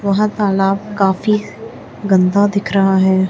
वहां तालाब काफी गंदा दिख रहा है।